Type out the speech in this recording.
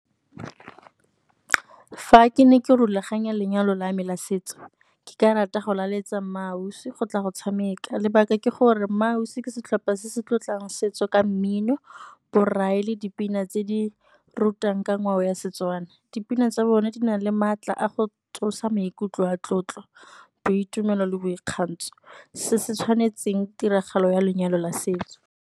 Fa ke ne ke rulaganya lenyalo la me la setso, ke ka rata go laletsa MmaAusi go tla go tshameka. Lebaka ke gore mmaausi ke setlhopha se se tlotlang setso ka mmino, borai le dipina tse di rutang ka ngwao ya Setswana. Dipina tsa bone di nang le maatla a go tsosa maikutlo a tlotlo, boitumelo le boikgantsho, se se tshwanetseng tiragalo ya lenyalo la setso.